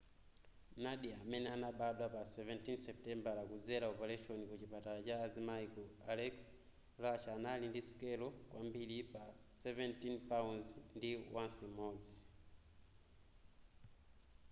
nadia amene anabadwa pa 17 supitembala kudzela opaleshoni ku chipatala cha azimai ku aleisk russia anali ndi sikelo kwambiri pa 17 pounds ndi ounce imodzi